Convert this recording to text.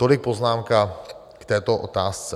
Tolik poznámka k této otázce.